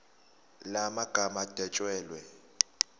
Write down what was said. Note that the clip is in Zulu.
la magama adwetshelwe